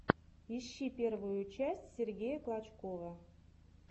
ищи первую часть сергея клочкова